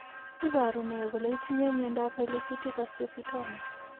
Iporu ne kole itinye miondap pilocytic astrocytoma?